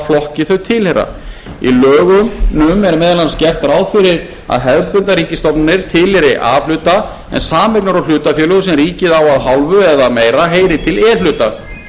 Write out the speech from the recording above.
flokki þau tilheyra í lögunum er meðal annars gert ráð fyrir að hefðbundnar ríkisstofnanir tilheyri a hluta en sameignar og hlutafélög sem ríkið á að hálfu eða meira heyri til e hluta fram